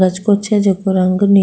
है जेको रंग नी --